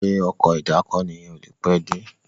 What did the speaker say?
Ṣe Ọkọ̀ ìdákoní yén o ní pé dé?